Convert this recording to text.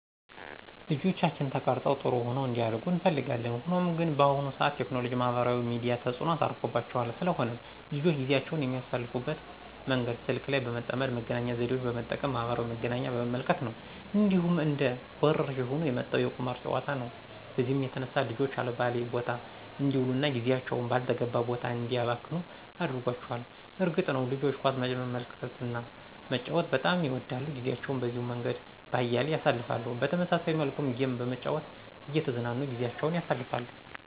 ልጆቻችን ተቀርፀው ጥሩሆነው እንዲያድጉ እንፈልጋለን። ሆኖም ግን በአሁኑ ሰዓት ቴክኖሎጂ ማህበራዊ ሚዲያ ተጽኖ አርፎባቸዋል። ስለሆነም ልጆች ጊዜአቸውን የሚያሳልፍበት መንገድ ስልክ ላይ በመጠመድ መገናኛ ዘዴወችን በመጠቀም ማህበራዊ መዝናኛ በመመልከት ነው። እንዲሁም እንደ ወረርሽኝ ሆኖ የመጣው የቁማር ጨዋታ ነው በዚህም የተነሳ ልጆች አልባሌ ቦታ አንዲውሉ እና ጊዜአቸውን ባልተገባ ቦታ እንዲያባክኑ አድርጓቸዋል። እርግጥ ነዉ ልጆች ኳስ መመልከትና መጫወት በጣም ይወዳሉ ጊዜአቸውን በዚሁ መንገድ በአያሌው ያሳልፍሉ። በተመሳሳይ መልኩም ጌም በመጨዋት እየተዝናኑ ጊዜአቸውን ያሳልፍሉ።